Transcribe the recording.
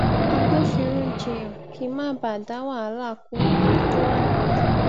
agbofinro jiyàn kí n má bàa dá wàhálà kun eyi to wa nile